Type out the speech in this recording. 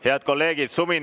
Head kolleegid!